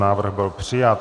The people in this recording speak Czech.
Návrh byl přijat.